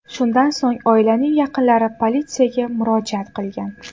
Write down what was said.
Shundan so‘ng oilaning yaqinlari politsiyaga murojaat qilgan.